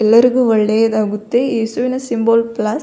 ಎಲ್ಲರಿಗು ಒಳ್ಳೆಯದಾಗುತ್ತದೆ ಏಸುವಿನ ಸಿಂಬಲ್ ಪ್ಲಸ್ --